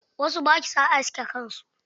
Wasu ba sua aske kan su.